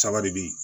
Saba de be yen